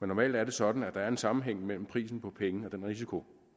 normalt er det sådan at der er en sammenhæng mellem prisen på penge og den risiko